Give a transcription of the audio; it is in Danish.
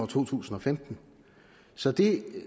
to tusind og femten så det